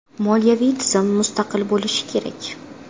Moliyaviy tizim mustaqil bo‘lishi kerak.